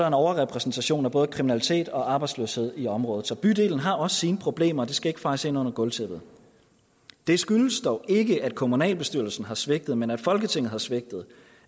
en overrepræsentation af både kriminalitet og arbejdsløshed i området så bydelen har også sine problemer det skal ikke fejes ind under gulvtæppet det skyldes dog ikke at kommunalbestyrelsen har svigtet men at folketinget har svigtet